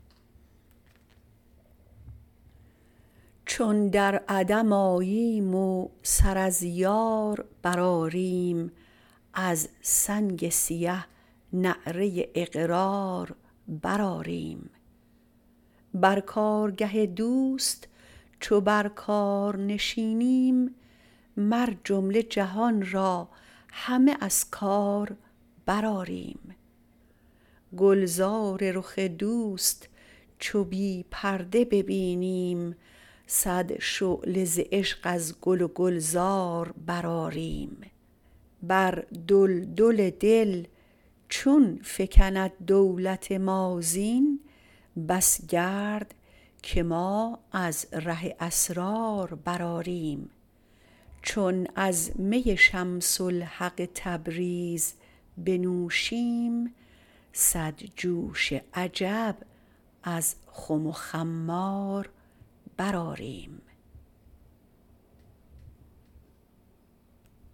چون در عدم آییم و سر از یار برآریم از سنگ سیه نعره اقرار برآریم بر کارگه دوست چو بر کار نشینیم مر جمله جهان را همه از کار برآریم گلزار رخ دوست چو بی پرده ببینیم صد شعله ز عشق از گل گلزار برآریم بر دلدل دل چون فکند دولت ما زین بس گرد که ما از ره اسرار برآریم چون از می شمس الحق تبریز بنوشیم صد جوش عجب از خم و خمار برآریم